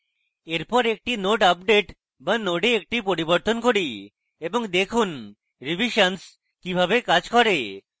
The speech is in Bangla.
এরপর একটি node আপডেট বা node একটি পরিবর্তন করি এবং দেখুন revisions কিভাবে কাজ করে